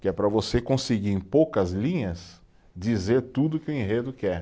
Que é para você conseguir em poucas linhas dizer tudo que o enredo quer.